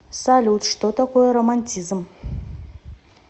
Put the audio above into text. салют что такое романтизм